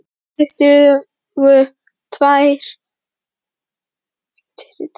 Tuttugu tær í dimmum bröggum inniskóa þrá vorið